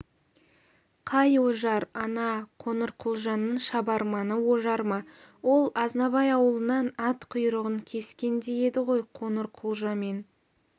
қай ожар ана қоңырқұлжаның шабарманы ожар ма ол азнабай аулынан ат құйрығын кескендей еді ғой қоңырқұлжамен